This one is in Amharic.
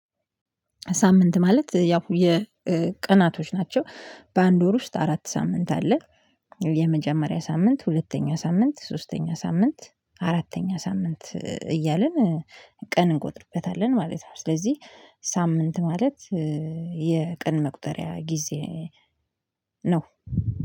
ሳምንት ማለት ያው የቀናቶች ናቸው በአንድ ወር ውስጥ አራት ሳምንት አለ። የመጀመሪያ ሳምንት ሁለተኛ ሳምንት ሶስተኛ ሳምንት አራተኛ ሳምንት እያልን ቀን እንቆጥርበታለን ማለት ነው። ስለዚህ ሳምንት ማለት የቀን መቁጠሪያ ጊዜ ነው